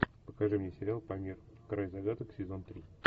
покажи мне сериал памир край загадок сезон три